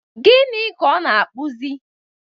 Gịnị ka ọ na-akpụzi?